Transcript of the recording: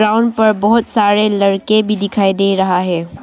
Ground पर बहोत सारे लड़के भी दिखाई दे रहा है।